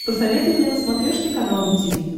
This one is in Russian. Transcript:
посоветуй мне на смотрешке канал ру ти ви